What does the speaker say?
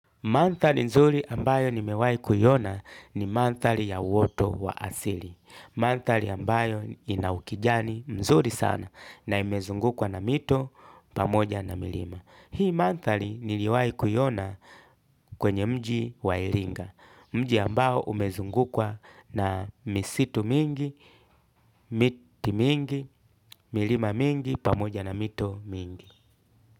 Mandhari nzuri ambayo nimewahi kuiona ni mandhari ya uoto wa asili. Mandhari ambayo ina ukijani mzuri sana na imezungukwa na mito pamoja na milima. Hii mandhari niliwahi kuiona kwenye mji wa iringa. Mji ambao umezungukwa na misitu mingi, miti mingi, milima mingi pamoja na mito mingi.